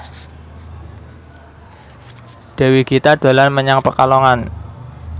Dewi Gita dolan menyang Pekalongan